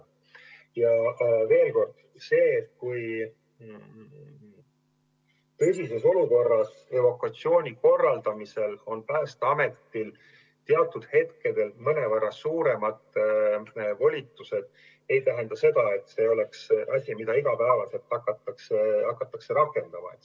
Ja veel: sellises olukorras, evakuatsiooni korraldamisel on Päästeametil teatud hetkedel mõnevõrra suuremad volitused, aga see ei tähenda seda, et see oleks asi, mida iga päev hakatakse rakendama.